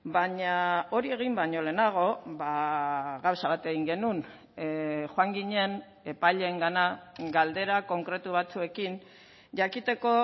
baina hori egin baino lehenago gauza bat egin genuen joan ginen epaileengana galdera konkretu batzuekin jakiteko